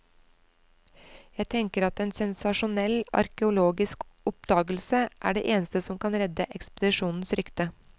Jeg tenker at en sensasjonell arkeologisk oppdagelse er det eneste som kan redde ekspedisjonens rykte.